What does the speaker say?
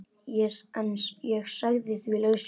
Ég sagði því lausu.